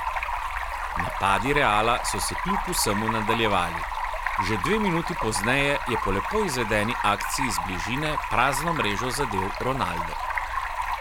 Napadi Reala so se kljub vsemu nadaljevali, že dve minuti pozneje je po lepo izvedeni akciji iz bližine prazno mrežo zadel Ronaldo.